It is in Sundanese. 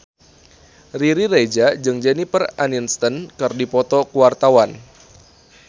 Riri Reza jeung Jennifer Aniston keur dipoto ku wartawan